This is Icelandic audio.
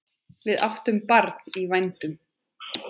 Við áttum barn í vændum.